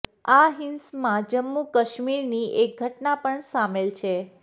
આ હિંસમાં જમ્મુ કાશ્મીરની એક ઘટના પણ સામેલ છે